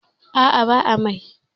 A'a ba amai.